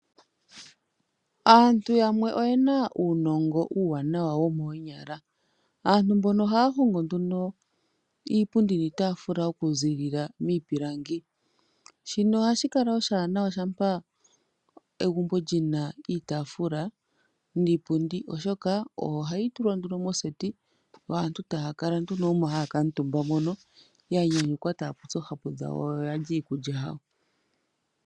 Aantu yamwe oye na uunongo uuwanawa womoonyala. Aantu mbono ohaya hongo nduno iipundi niitaafula okuzilila miipilangi. Shino ohashi kala oshiwanawa shampa egumbo li na iitaafula niipundi oshoka ,oyo hayi tulwa nduno moseti yo aantu taya kala nduno omo haya kuutumba ya nyanyukwa taya popi oohapu dhawo yo oya lya iikulya yawo.